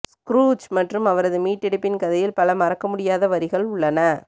Scrooge மற்றும் அவரது மீட்டெடுப்பின் கதையில் பல மறக்கமுடியாத வரிகள் உள்ளன